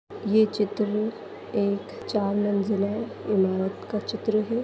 ये चित्र एक चार मंजिले इमारत का चित्र है।